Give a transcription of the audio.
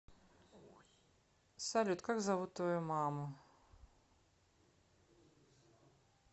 салют как зовут твою маму